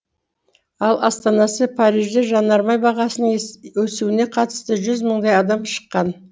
ал астанасы парижде жанармай бағасының өсуіне қарсы жүз мыңдай адам шыққан